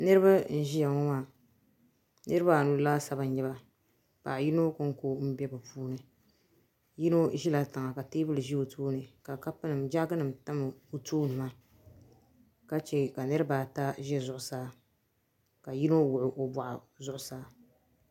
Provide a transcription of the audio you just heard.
Niriba n ʒiya ŋɔ maa niriba anu laasabu n nyɛba paɣa yino ko n ko bɛ bi puuni yino ʒila tiŋa ka teebuli ʒɛ o tooni ka kapu nima jaagi nima tam o tooni ka che ka niriba ata ʒɛ zuɣusaa ka yino wuɣi o bɔɣu zuɣusaa.